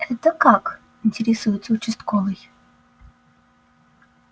это как интересуется участковый